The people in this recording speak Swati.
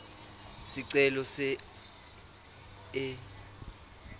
sicelo se a